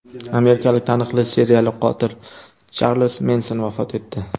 Amerikalik taniqli seriyali qotil Charlz Menson vafot etdi.